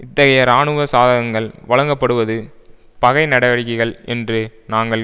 இத்தகைய இராணுவ சாதனங்கள் வழங்கப்படுவது பகை நடவடிக்கைகள் என்று நாங்கள்